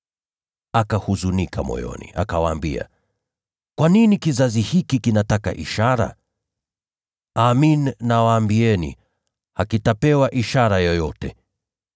Akahuzunika moyoni, akawaambia, “Kwa nini kizazi hiki kinataka ishara? Amin nawaambieni, hakitapewa ishara yoyote.”